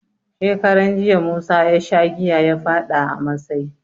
Shekaran jiya, musa ya sha giya ya faɗa a masai.